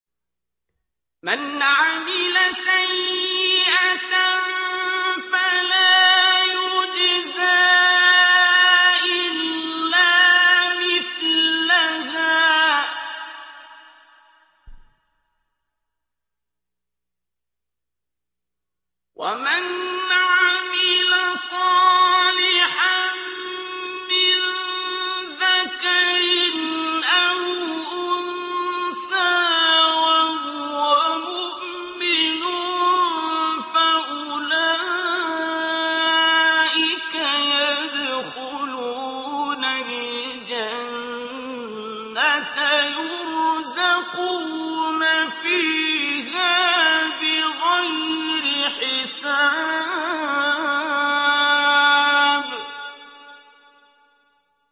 مَنْ عَمِلَ سَيِّئَةً فَلَا يُجْزَىٰ إِلَّا مِثْلَهَا ۖ وَمَنْ عَمِلَ صَالِحًا مِّن ذَكَرٍ أَوْ أُنثَىٰ وَهُوَ مُؤْمِنٌ فَأُولَٰئِكَ يَدْخُلُونَ الْجَنَّةَ يُرْزَقُونَ فِيهَا بِغَيْرِ حِسَابٍ